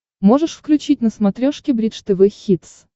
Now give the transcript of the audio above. можешь включить на смотрешке бридж тв хитс